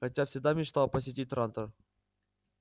хотя всегда мечтал посетить трантор